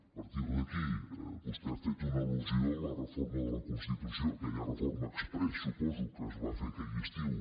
a partir d’aquí vostè ha fet una alforma de la constitució aquella reforma exprés suposo que es va fer aquell estiu